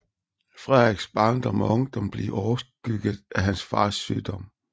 Frederiks barndom og ungdom blev overskygget af hans fars sygdom